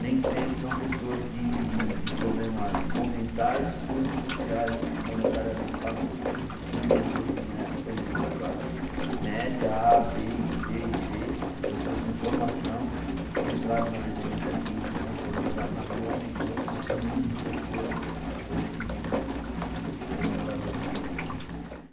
nem sempre são pessoas de de problemas ou mentais ou sociais, monetariamente falando, e sim de pessoas que vie estão vindo da classe média, A, Bê, e Cê e Dê, pessoas com formação e que entraram na dependência química e estão sendo jogadas na rua, aumentando o número de pessoas hoje que vivem se como moradores de rua.